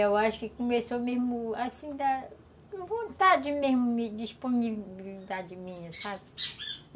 Eu acho que começou mesmo assim da vontade mesmo de me, disponibilidade minha, sabe?